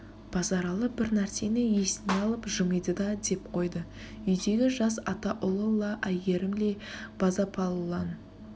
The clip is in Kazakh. базаралы бір нәрсені есіне алып жымиды да деп қойды үйдегі жас атаұлы ла әйгерім ле базапалылан